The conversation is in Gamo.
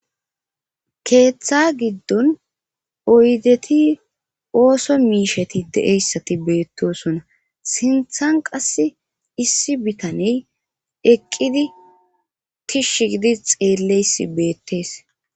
Keeththa giddon oydeti ooso miisheti de7eyssati beettosona sinthan qass issi bitaney eqqidi tishsh gidi xeelleys beettees